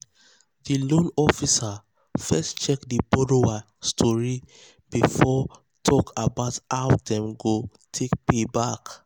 di loan officer first check di borrower story before talk about how how dem go take pay back.